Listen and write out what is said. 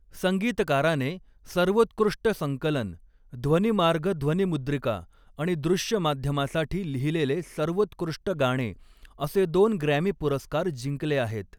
संगीतकाराने, सर्वोत्कृष्ट संकलन ध्वनिमार्ग ध्वनिमुद्रिका आणि दृश्य माध्यमासाठी लिहिलेले सर्वोत्कृष्ट गाणे, असे दोन ग्रॅमी पुरस्कार जिंकले आहेत.